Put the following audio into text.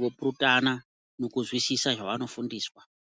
vopurutana nekuzwisisa zvavanofundiswa.